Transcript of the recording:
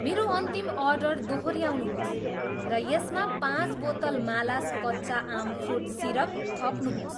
मेरो अन्तिम अर्डर दोहोऱ्याउनुहोस् र यसमा पाँच बोतल मालास् कच्चा आम फ्रुट सिरप थप्नुहोस्